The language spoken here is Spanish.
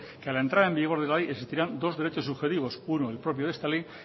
que a la entrada en vigor de la ley existirán dos derechos subjetivos uno el propio de esta ley